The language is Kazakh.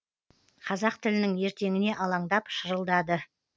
қазақ тілінің ертеңіне алаңдап шырылдады